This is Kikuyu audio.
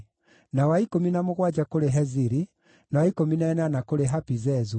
na wa ikũmi na mũgwanja kũrĩ Heziri, na wa ikũmi na ĩnana kũrĩ Hapizezu,